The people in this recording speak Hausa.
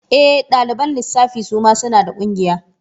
E, ɗaliban lissafi suma suna da ƙungiya.